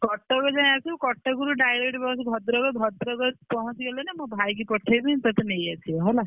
କଟକ ଯାଏ ଆସିବୁ କଟକରୁ direct bus ଭଦ୍ରକ ଭଦ୍ରକ ରେ ଆସି ପହଞ୍ଚିଗଲେନା ମୋ ଭାଇକି ପଠେଇବି ତତେ ନେଇଆସିବ ହେଲା।